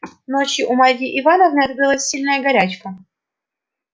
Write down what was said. ночью у марьи ивановны открылась сильная горячка